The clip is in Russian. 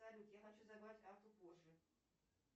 салют я хочу забрать карту позже